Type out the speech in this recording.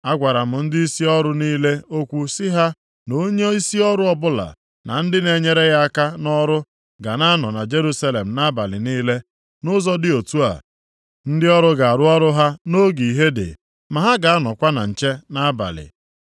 Agwara m ndịisi ọrụ niile okwu sị ha na onyeisi ọrụ ọbụla na ndị na-enyere ya aka nʼọrụ ga na-anọ na Jerusalem nʼabalị niile. Nʼụzọ dị otu a, ndị ọrụ ga-arụ ọrụ ha nʼoge ihe dị, ma ha ga-anọkwa na nche nʼabalị.